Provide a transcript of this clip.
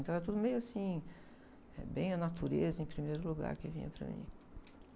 Então era tudo meio assim, eh, bem a natureza em primeiro lugar que vinha para mim.